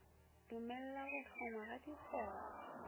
dumella go hlongwa ga dikgoro